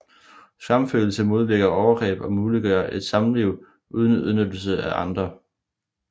Skamfølelse modvirker overgreb og muliggør et samliv uden udnyttelse af andre